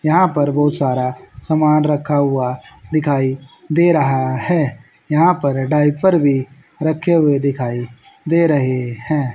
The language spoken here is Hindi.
यहां पर बहुत सारा सामान रखा हुआ दिखाई दे रहा है यहां पर डायपर भी रखे हुए दिखाई दे रहे हैं।